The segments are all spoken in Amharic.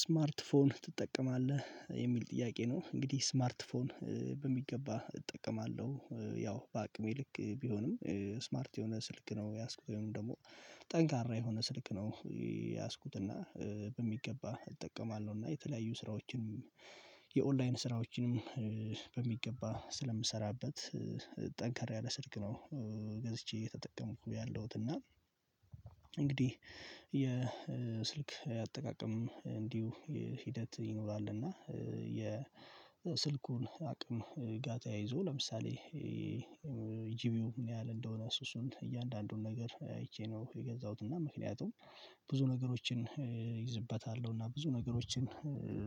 ስማርት ፎን ትጠቀማለህ የሚል ጥያቄ ነው? እንግዲህ ስማርት ፎን በሚገባ እጠቀማለሁ ያው በአቅሜ ልክ ቢሆንም ስማርት የሆነ ስልክ ነው የያዝኩት ወይም ደግሞ ጠንካራ የሆነ ስልክ ነው። የያዝኩት እና በሚገባ እጠቀማለሁ እና የተለያዩ ስራዎችንም የኦንላይን ስራዎችንም በሚገባ ስለምሰራበት ጠንከራ ያለ ስልክ ነው። ገዝቼ እየተጠቀምኩ ያለሁት እና እንግዲህ የስልክ አጠቃቀም እንዲሁ ሂደት ይኖራል። እና የስልኩን አቅም ጋር ተያይዞ ለምሳሌ ጂቢው ምን ያህል እንደሆነ እሱ እሱን እያንዳንዱን ነገር አይቼ ነው የገዛሁት። እና ምክንያቱም ብዙ ነገሮችን እይዝበታለሁ እና ብዙ ነገሮችን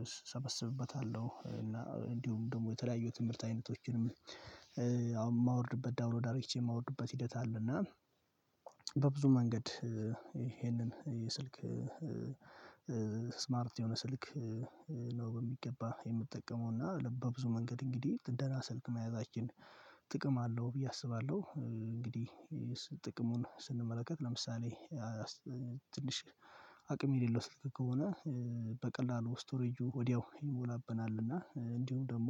እሰበስብበታለሁ እንዲሁም ደግሞ የተለያዩ ትምህርት አይነቶችንም የማወርድበት ዳውንሎድ አርግቼ የማወርድበት ሂደት አለ። እና በብዙ መንገድ ይሄንን የስልክ ስማርት የሆነ ስልክ ነው በሚገባ የምጠቀመው እና ለበብዙ መንገድ እንግዲህ ደህና ስልክ መያዛችን ጥቅም አለው ብዬ አስባለሁ። እንግዲህ ጥቅሙን ስንመለከት ለምሳሌ ትንሽ አቅም የሌለው ስልክ ከሆነ በቀላሉ ስቶሬጁ ወዲያው ይሞላብናል እና እንዲሁም ደግሞ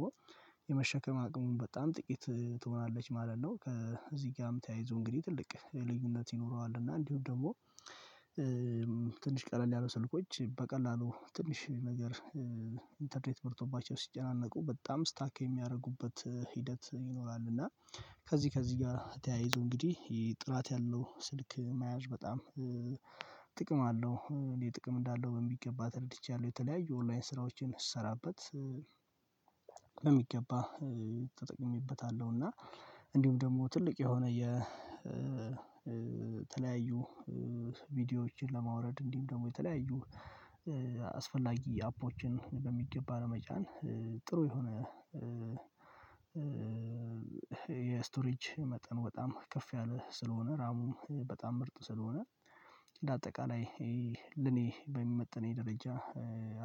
የመሸከም አቅሙን በጣም ጥቂት ትሆናለች ማለት ነው። ከዚህ ጋርም ተያይዞ እንግዲህ ትልቅ ልዩነት ይኖረዋል እና እንዲሁም ደግሞ ትንሽ ቀለል ያሉ ስልኮች በቀላሉ ትንሽ ነገር ኢንተርኔት በርቶባቸው ሲጨናነቁ በጣም ስታክ የሚያደርጉበት ሂደት ይኖራል። እና ከዚህ ከዚህ ጋር ተያይዞ እንግዲህ ጥላት ያለው ስልክ መያዝ በጣም ጥቅም አለው እንዴት ጥቅም እንዳለው በሚገባ ተረድቻለሁ። የተለያዩ ኦንላይን ስራዎችን ስሰራበት ለሚገባ ተጠቅሜበታለሁ እና እንዲሁም ደግሞ ትልቅ የሆነ የ የተለያዩ ቪዲዮዎችን ለማውረድ እንዲህም ደግሞ የተለያዩ አስፈላጊ አፖችን በሚገባ ለመጫን ጥሩ የሆነ የስቶሬጅ መጠኑ በጣም ከፍ ያለ ስለሆነ ራሙም በጣም ምርጥ ስለሆነ ለአጠቃላይ ለኔ በሚመጥነኝ ደረጃ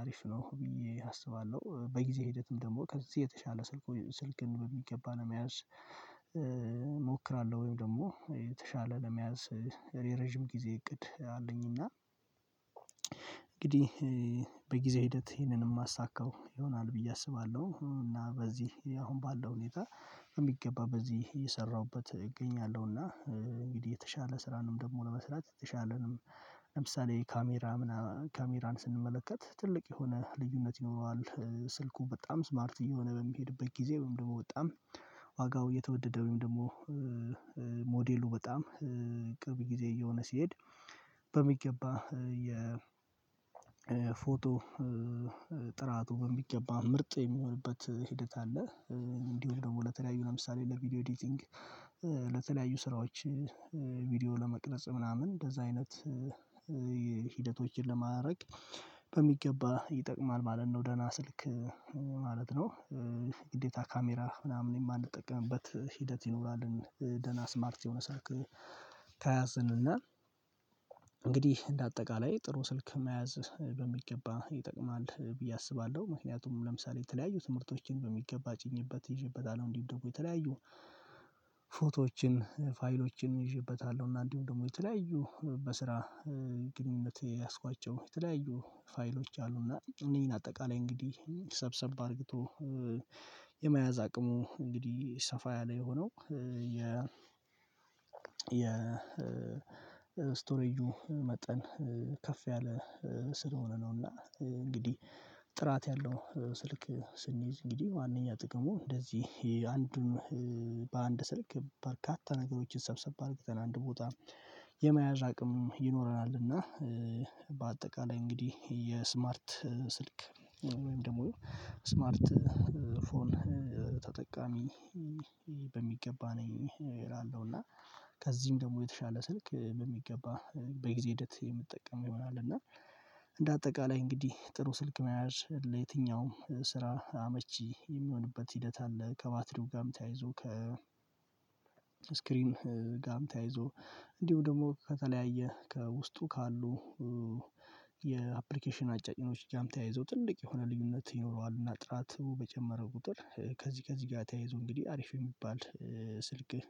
አሪፍ ነው። ብዬ አስባለሁ በጊዜ ሂደትም ደግሞ ከዚህ የተሻለ ስልኩ ስልክን በሚገባ ለመያዝ እሞክራለሁ ወይም ደግሞ የተሻለ ለመያዝ የረዥም ጊዜ እቅድ አለኝ። እና እንግዲህ በጊዜ ሂደት ይሄንን የማሳካው ይሆናል ብዬ አስባለሁ። እና በዚህ አሁን ባለው ሁኔታ በሚገባ በዚህ እየሰራሁበት እገኛለሁ እና እንግዲህ የተሻለ ስራንም ደግሞ ለመስራት የተሻለንም ለምሳሌ ካሜራ ካሜራን ስንመለከት ትልቅ የሆነ ልዩነት ይኖረዋል። ስልኩ በጣም ስማርት እየሆነ በሚሄድበት ጊዜ ወይም ደግሞ በጣም ዋጋው እየተወደደ ወይም ደግሞ ሞዴሉ በጣም ቅርብ ጊዜ እየሆነ ሲሄድ በሚገባ የ ፎቶ ጥራቱ በሚገባ ምርጥ የሚሆንበት ሂደት አለ። እንዲሆም ደግሞ ለተለያዩ ለምሳሌ ለቪዲዮ ኤዲቲንግ ለተለያዩ ስራዎች ቪዲዮ ለመቅረጽ ምናምን እንደዛ አይነት ሂደቶችን ለማድረግ በሚገባ ይጠቅማል ማለት ነው። ደህና ስልክ ማለት ነው ግዴታ ካሜራ ምናምን የማንጠቀምበት ሂደት ይኖራልን? ደህና ስማርት የሆነ ስልክ ከያዝን እና እንግዲህ እንደ አጠቃላይ ጥሩ ስልክ መያዝ በሚገባ ይጠቅማል ብዬ አስባለሁ። ምክንያቱም ለምሳሌ የተለያዩ ትምህርቶችን በሚገባ ጭኜበት ይዤበታለሁ እንዲሁም ደግሞ የተለያዩ ፎቶዎችን ፋይሎችን ይዤበታለሁ እና እንዲሁም ደግሞ የተለያዩ በስራ ግንኙነት የያዝኳቸው የተለያዩ ፋይሎች አሉ እና እነኚን አጠቃላይ እንግዲህ ሰብሰብ አርግቶ የመያዝ አቅሙ እንግዲህ ሰፋ ያለ የሆነው የ የ ስቶሬጁ መጠን ከፍ ያለ ስለሆነ ነው። እና እንግዲህ ጥራት ያለው ስልክ ስንይዝ እንግዲህ ዋናኛ ጥቅሙ እንደዚህ አንዱን ስልክ በርካታ ነገሮችን ሰብሰብ አድርገን አንድ ቦታ የመያዝ አቅም ይኖረናል። እና በአጠቃላይ እንግዲህ የስማርት ስልክ ወይም ደግሞ ስማርት ፎን ተጠቃሚ በሚገባ ነኝ እላለሁ። እና ከዚህም ደግሞ የተሻለ ስልክ በሚገባ በጊዜ ሂደት የምጠቀመው ይሆናል እና እንደ አጠቃላይ እንግዲህ ጥሩ ስልክ መያዝ ለየትኛውም ስራ አመቺ የሚሆንበት ሂደት አለ። ከባትሪው ጋርም ተያይዞ ከ ስክሪን ጋም ተያይዞ እንዲሁ ደግሞ ከተለያየ ከውስጡ ካሉ የአፕሊኬሽን አጫጭኖች ጋም ተያይዞ ትልቅ የሆነ ልዩነት ይኖረዋል። እና ጥራቱ በጨመረ ቁጥር ከዚህ ከዚህ ጋር ተያይዞ እንግዲህ አሪፍ የሚባል ስልክህ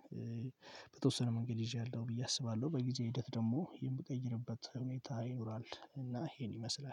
በተወሰነ መንገድ ይዤያለሁ ብዬ አስባለሁ። በጊዜ ሂደት ደግሞ የምቀይርበት ሁኔታ ይኖራል። እና ይሄን ይመስላል